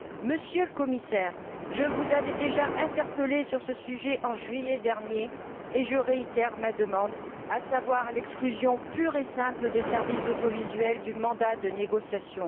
Monsieur le Commissaire, je vous avais déjà interpellé sur ce sujet en juillet dernier, et je réitère ma demande, à savoir l'exclusion pure et simple des services audiovisuels du mandat de négociation.